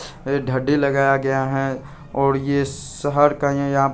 ये दाढ़ी लगाया गया है और ये शहर का --